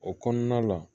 O kɔnɔna la